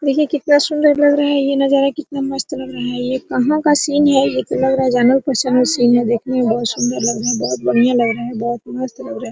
देखिए कितना सुन्दर लग रहा है ये नजारा कितना मस्त लग रहा है ये कहा का सीन ये तो लग रहा है जंगल का सीन है देखने में बहुत सुन्दर लग रहा हैबहुत बढ़िया लग रहा है बहुत मस्त लग रहा है ।